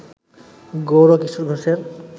গৌরকিশোর ঘোষের